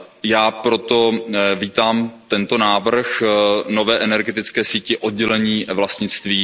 Já proto vítám tento návrh nové energetické sítě, oddělení vlastnictví.